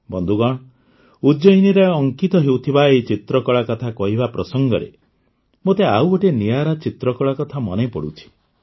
ବନ୍ଧୁଗଣ ଉଜ୍ଜୟିନୀରେ ଅଙ୍କିତ ହେଉଥିବା ଏହି ଚିତ୍ରକଳା କଥା କହିବା ପ୍ରସଙ୍ଗରେ ମୋତେ ଆଉ ଗୋଟିଏ ନିଆରା ଚିତ୍ରକଳା କଥା ମନେପଡ଼ୁଛି